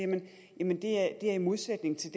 jamen det er i modsætning til